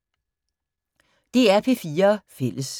DR P4 Fælles